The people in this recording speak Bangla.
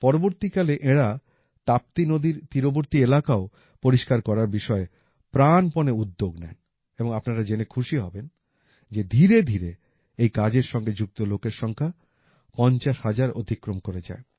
পরবর্তীকালে এঁরা তাপ্তি নদীর তীরবর্তী এলাকাও পরিষ্কার করার বিষয়ে প্রাণপণে উদ্যোগ নেন এবং আপনারা জেনে খুশি হবেন যে ধীরে ধীরে এই কাজের সঙ্গে যুক্ত লোকের সংখ্যা ৫০ হাজার অতিক্রম করে যায়